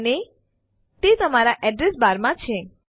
અને તે તમારા એડ્રેસ બાર માં છે